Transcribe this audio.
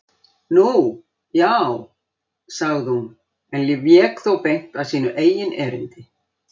Nú, já- sagði hún en vék þó beint að sínu eigin erindi.